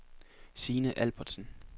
Signe Albertsen